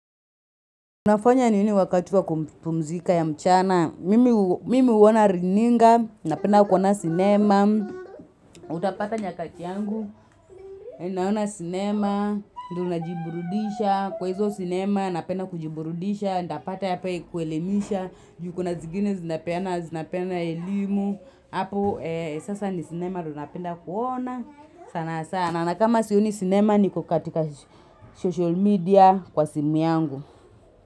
Unafanya nini wakati wa kupumzika ya mchana, mimi uona runinga, napenda kuona sinema, utapata nyakati yangu, Ninaona sinema, kuna jiburudisha, kwa hizo sinema napenda kujiburudisha, inatapata ya kuelemisha, juu kuna zingine zinapeana, zinapeana elimu, hapo sasa ni sinema ndo penda kuona, sana sana, na kama sioni sinema niko katika social media kwa simu yangu.